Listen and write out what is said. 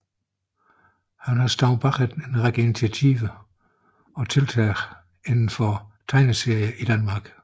Han har stået bag en række initiativer og tiltag inden for tegneserier i Danmark